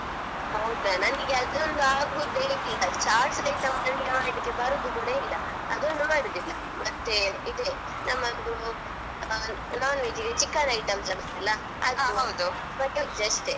ಹೌದಾ ನನ್ಗೆ ಅದೊಂದು ಆಗುದೇ ಇಲ್ಲಾ chats item ನನ್ಗೆ ಮಾಡ್ಲಿಕ್ಕೆ ಬರುದು ಕೂಡ ಇಲ್ಲಾ ಅದೊಂದು ಮಾಡುದಿಲ್ಲ ಮತ್ತೇ ಇದೆ ನಮ್ಮದು non-veg ಗೆ chicken item ಜಾಸ್ತಿಯಲ್ವಾ ಅಷ್ಟೇ.